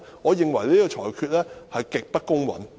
我認為主席的裁決極不公允。